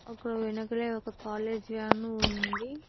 అక్కడ వెనకలే ఒక కాలేజీ వ్యాను ఉంది.